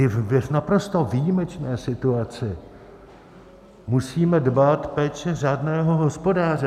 I v naprosto výjimečné situaci musíme dbát péče řádného hospodáře.